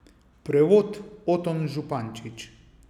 Prevod Oton Župančič.